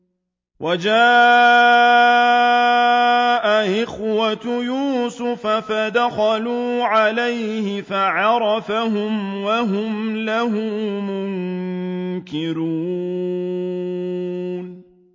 وَجَاءَ إِخْوَةُ يُوسُفَ فَدَخَلُوا عَلَيْهِ فَعَرَفَهُمْ وَهُمْ لَهُ مُنكِرُونَ